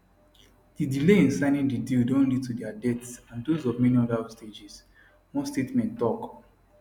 di delay in signing di deal don lead to dia deaths and dose of many oda hostages one statement tok